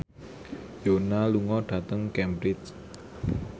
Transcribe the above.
Yoona lunga dhateng Cambridge